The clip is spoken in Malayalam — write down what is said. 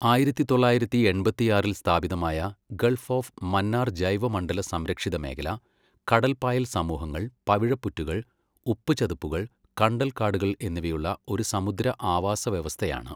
ആയിരത്തി തൊള്ളായിരത്തി എൺപത്തിയാറിൽ സ്ഥാപിതമായ ഗൾഫ് ഓഫ് മന്നാർ ജൈവ മണ്ഡല സംരക്ഷിത മേഖല കടൽപ്പായൽ സമൂഹങ്ങൾ, പവിഴപ്പുറ്റുകൾ, ഉപ്പ് ചതുപ്പുകൾ, കണ്ടൽക്കാടുകൾ എന്നിവയുള്ള ഒരു സമുദ്ര ആവാസ വ്യവസ്ഥയാണ്.